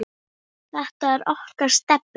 Þetta er okkar stefna.